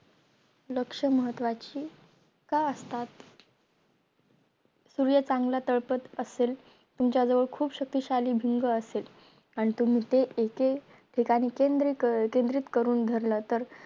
लक्ष महत्वाची का असतात सूर्य चांगला तळपत असेल तुमच्या जवळ खूप शक्तिशाली भिंग असेल आणि ते एके एक ठिकाणी केंद्र केंद्रित करून धरलं तर